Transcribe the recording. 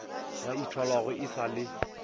ba ithwalago e sa le